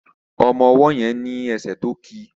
Ọmọ ọwó yen ní esè to kí.